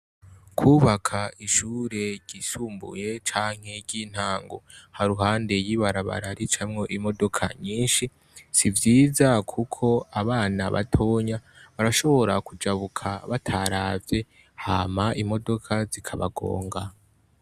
Kubaka ishure ryisumbuye canke ryitango haruhande yibarabara ricamwo imodoka nyinshi sivyiza kuko abana batoya barashobora kujabuka bataravye hama imodoka zikabagonga